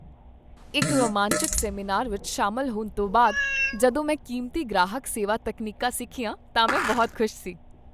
ਇੱਕ ਰੋਮਾਂਚਕ ਸੈਮੀਨਾਰ ਵਿੱਚ ਸ਼ਾਮਲ ਹੋਣ ਤੋਂ ਬਾਅਦ, ਜਦੋਂ ਮੈਂ ਕੀਮਤੀ ਗ੍ਰਾਹਕ ਸੇਵਾ ਤਕਨੀਕਾਂ ਸਿੱਖੀਆਂ ਤਾਂ ਮੈਂ ਬਹੁਤ ਖੁਸ਼ ਸੀ।